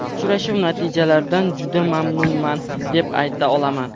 Uchrashuv natijalaridan juda mamnunman, deb ayta olaman.